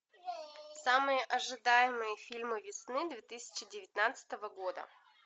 самые ожидаемые фильмы весны две тысячи девятнадцатого года